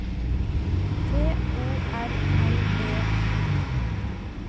T O R L E I F